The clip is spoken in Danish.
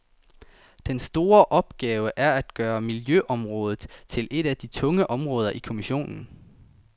Den store opgave er at gøre miljøområdet til et af de tunge områder i kommissionen.